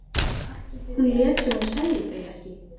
Hún lét sem hún sæi þau ekki.